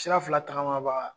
Sira fila tagamabaga.